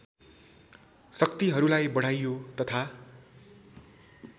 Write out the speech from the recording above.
शक्तिहरूलाई बढाइयो तथा